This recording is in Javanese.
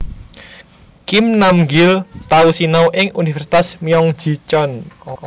Kim Nam Gil tau sinau ing Universitas Myeong Ji Cheon